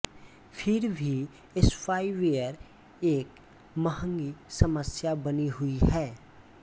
फिर भी स्पाइवेयर एक महंगी समस्या बनी हुई है